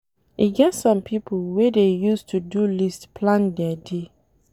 E get some pipo wey dey use to-do list plan their day.